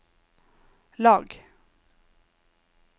lag